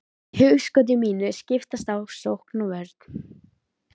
Í hugskoti mínu skiptast á sókn og vörn.